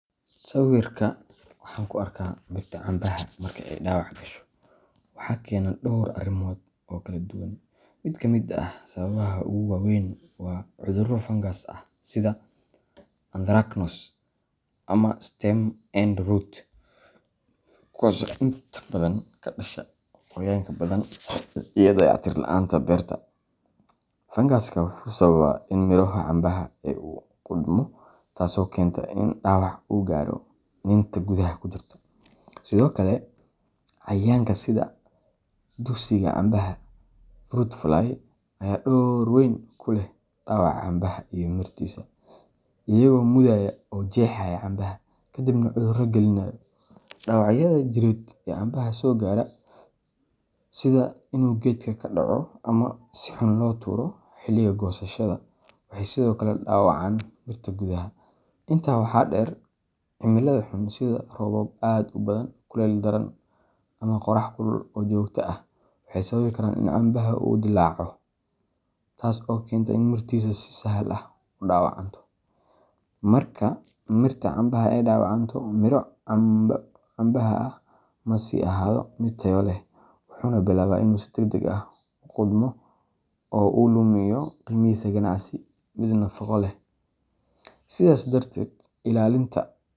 Sawirka waxan ku arka mirta cambaha marka ay dhaawac gasho waxaa keeni kara dhowr arrimood oo kala duwan. Mid ka mid ah sababaha ugu waaweyn waa cudurro fangas ah sida Anthracnose ama Stem end rot, kuwaas oo inta badan ka dhasha qoyaanka badan iyo dayactir la'aanta beerta. Fangasku wuxuu sababi karaa in miro cambaha ah uu qudhmo, taasoo keenta in dhaawac uu gaaro iniinta gudaha ku jirta. Sidoo kale, cayayaanka sida duqsiga cambaha fruit fly ayaa door weyn ku leh dhaawaca cambaha iyo mirtiisa, iyagoo mudaya oo jeexaya cambaha, ka dibna cudurro gelinaya. Dhaawacyada jireed ee cambaha soo gaara, sida inuu geedka ka dhaco ama si xun loo tuuro xilliga goosashada, waxay sidoo kale dhaawacaan mirta gudaha. Intaa waxaa dheer, cimilada xun sida roobab aad u badan, kulayl daran, ama qorrax kulul oo joogto ah waxay sababi karaan in cambaha uu dillaaco, taas oo keenta in mirtiisa si sahal ah u dhaawacanto. Marka mirta cambaha ay dhaawacanto, miro cambaha ah ma sii ahaado mid tayo leh, wuxuuna bilaabaa inuu si degdeg ah u qudhmo oo uu lumiyo qiimihiisa ganacsi iyo mid nafaqo leh. Sidaas darteed, ilaalinta.